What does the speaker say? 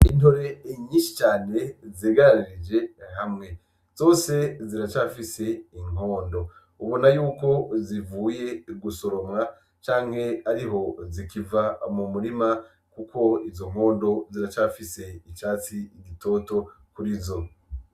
Intore nyinshi cane zegeranirije hamwe, zose ziracafis'inkondo ubonako yuko zivuye gusoromwa cane ariho zikiva mu murima kuko izo nkondo ziracafise icatsi gitoto kurizo .